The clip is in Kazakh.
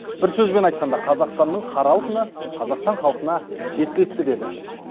бір сөзбен айтқанда қазақстанның қара алтыны қазақстан халқына жеткілікті деді